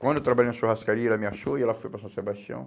Quando eu trabalhei na churrascaria, ela me achou e ela foi para São Sebastião.